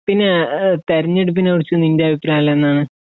പിന്നെ തിരഞ്ഞെടുപ്പിനെ കുറിച്ച് നിന്റെ അഭിപ്രായം എല്ലാം എന്താണ്